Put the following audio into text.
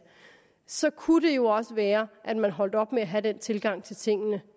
så kunne det jo også være at man holdt op med at have den tilgang til tingene